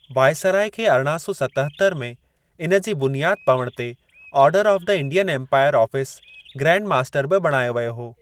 Viceroy खे अरणां सौ सतहतर में इन जी बुनियाद पवण ते order of the Indian empire office grand master बि बणायो वियो हो।